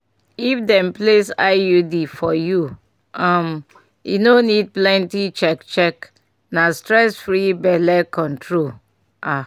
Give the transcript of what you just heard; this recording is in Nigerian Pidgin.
if dem place iud for you um e no need plenty check — check — na stress-free belle control ah!